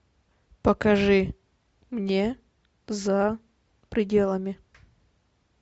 покажи мне за пределами